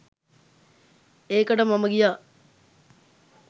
ඒකට මම ගියා